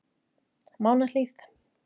Mánahlíð